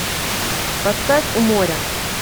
поставь у моря